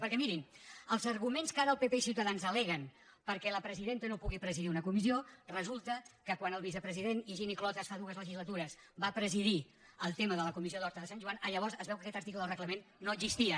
perquè mi·rin els arguments que ara el pp i ciutadans al·leguen perquè la presidenta no puguin presidir una comis·sió resulta que quan el vicepresident higini clotas fa dues legislatures va presidir el tema de la comissió d’horta de sant joan llavors es veu que aquest article del reglament no existia